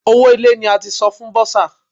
Owó ilé ní a ti san fún bọ́sà.